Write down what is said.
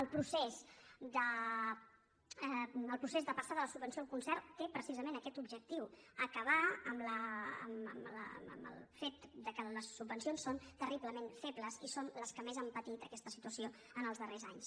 el procés de passar de la subvenció al concert té precisament aquest objectiu acabar amb el fet que les subvencions són terriblement febles i són les que més han patit aquesta situació en els darrers anys